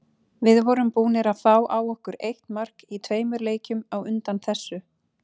Við vorum búnir að fá á okkur eitt mark í tveimur leikjum á undan þessu.